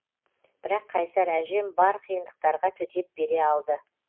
бірақ қайсар әжем бар қиындықтарға төтеп бере алды